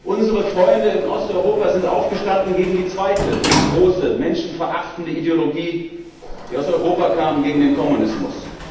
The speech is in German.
Unsere Freunde in Osteuropa sind aufgestanden gegen die zweite große menschenverachtende Ideologie, die aus Europa kam, den Kommunismus.